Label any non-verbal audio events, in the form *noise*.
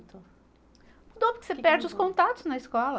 *unintelligible* Mudou, porque você perde os contatos na escola.